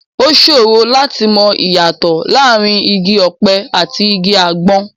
Ó ṣòro láti mọ ìyàtọ̀ láàrin igi ọ̀pẹ àti igi àgbọn.